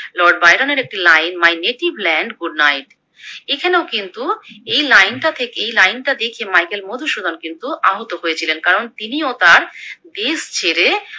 Lord বায়রনের একটি line My native land good night এখানেও কিন্তু এই লাইনটাকে এই লাইনটা দেখে মাইকেল মধুসূদন কিন্তু আহত হয়েছিলেন কারণ তিনি ও তার দেশ ছেড়ে